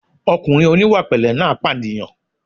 Ọkùnrin oníwàpẹ̀lẹ́ náà pànìyàn